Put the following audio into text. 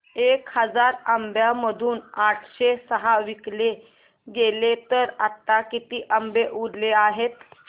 एक हजार आंब्यांमधून आठशे सहा विकले गेले तर आता किती आंबे उरले आहेत